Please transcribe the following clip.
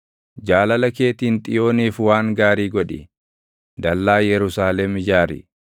Jaalala keetiin Xiyooniif waan gaarii godhi; dallaa Yerusaalem ijaari.